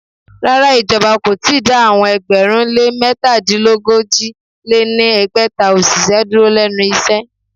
Rárá, ìjọba kò ì tíì dá àwọn ẹgbẹ̀rún lé métadínogójì lé ní ẹgbẹ́ta òṣìṣẹ́ dúró lénu iṣẹ́.